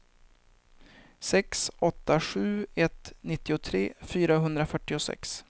sex åtta sju ett nittiotre fyrahundrafyrtiosex